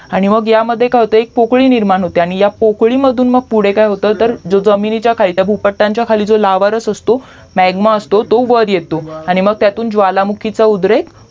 आणि ह्या मध्ये काय होते की एक पोकळी निर्माण होते आणि ह्या पोकळी मधून मग पुढे काय होतं तर जमिनीच्या खाली भूपट्टच्या खाली लावारस असतो म्याग्मा असतो तो वरती येतो आणि मंग त्यातून ज्वालामुखीचा उद्रेक